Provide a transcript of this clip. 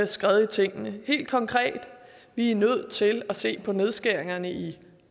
skred i tingene helt konkret vi er nødt til at se på nedskæringerne i